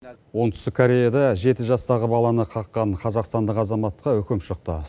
оңтүстік кореяда жеті жастағы баланы қаққан қазақстандық азаматқа үкім шықты